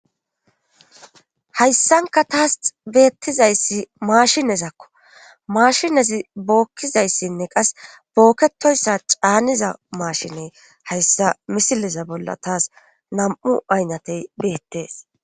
Hayssanka taas beettizayssi maashinezakko maashinezi bookkizayssinne qas bookketoyssa caaniza maashine hayssa misileza bolla taas nam7u aynnatey beettees.